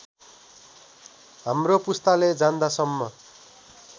हाम्रो पुस्ताले जान्दासम्म